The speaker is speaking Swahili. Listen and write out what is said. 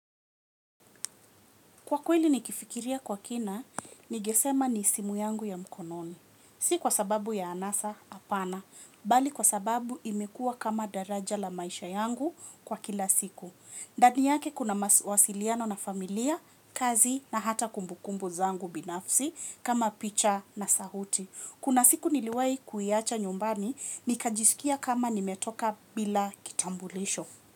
Kwa kweli nikifikiria kwa kina, ningesema ni simu yangu ya mkononi. Si kwa sababu ya anasa hapana, bali kwa sababu imekua kama daraja la maisha yangu kwa kila siku. Ndani yake kuna mawasiliano na familia, kazi na hata kumbukumbu zangu binafsi kama picha na sauti. Kuna siku niliwai kuiacha nyumbani, nikajisikia kama nimetoka bila kitambulisho.